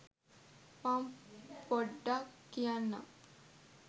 මං පොඩ්ඩක් කියන්නම්.